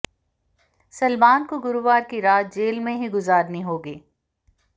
सलमान को गुरुवार की रात जेल में ही गुजारनी होगी